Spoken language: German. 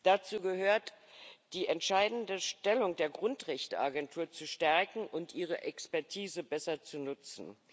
Dazu gehört, die entscheidende Stellung der Grundrechteagentur zu stärken und ihre Expertise besser zu nutzen.